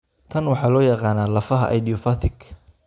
Tan waxaa loo yaqaanaa lafaha idiopathic.